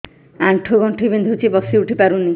ଆଣ୍ଠୁ ଗଣ୍ଠି ବିନ୍ଧୁଛି ବସିଉଠି ପାରୁନି